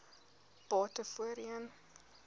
bate voorheen